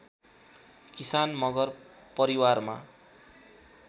किसान मगर परिवारमा